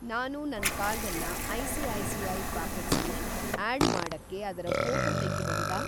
ನಾನು ನನ್‌ ಕಾರ್ಡನ್ನ ಐ.ಸಿ.ಐ.ಸಿ.ಐ. ಪಾಕೆಟ್ಸ್ ಲಿ ಆಡ್‌ ಮಾಡಕ್ಕೆ ಅದರ ಫ಼ೋಟೋ ತೆಗಿಬಹುದಾ?